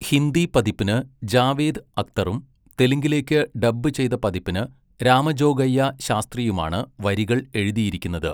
ഹിന്ദി പതിപ്പിന് ജാവേദ് അക്തറും തെലുങ്കിലേക്ക് ഡബ്ബ് ചെയ്ത പതിപ്പിന് രാമജോഗയ്യ ശാസ്ത്രിയുമാണ് വരികൾ എഴുതിയിരിക്കുന്നത്.